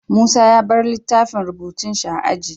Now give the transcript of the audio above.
Musa ya bar littafin rubutun shi a aji